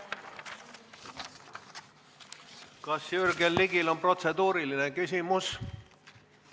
Kas Jürgen Ligil on protseduuriline küsimus?